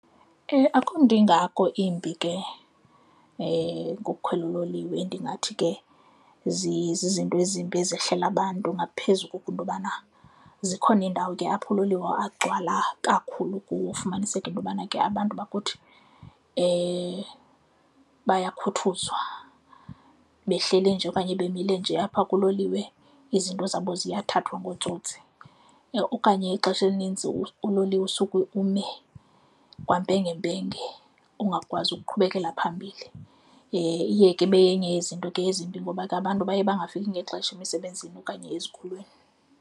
Akukho nto ingako imbi ke ngokukhwela uloliwe ndingathi ke zizinto ezimbi ezehlela abantu ngaphezu koko into yobana zikhona iindawo ke apho uloliwe agcwala kakhulu fumaniseke into yobana ke abantu bakuthi bakhuthazwa, behleli nje okanye bemile nje apha kuloliwe izinto zabo ziyathathwa ngootsotsi. Okanye ixesha elinintsi uloliwe usuke ume kwampengempenge ungakwazi ukuqhubekelela phambili, iye ke ibe yenye yezinto ke yezinto ezimbi ngoba ke abantu baye bangafiki ngexesha emisebenzini okanye ezikolweni.